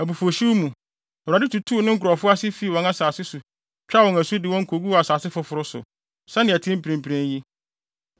Abufuwhyew mu, Awurade tutuu ne nkurɔfo ase fii wɔn asase so twaa wɔn asu de wɔn koguu asase foforo so, sɛnea ɛte mprempren yi.”